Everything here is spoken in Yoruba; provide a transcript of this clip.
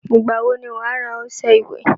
Ìgbà wo ni wàá rà ọṣẹ ìwẹ̀?